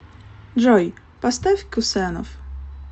джой поставь кусенов